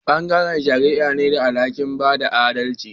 Bangaren shari'a ne da alhaki'n bada adalci.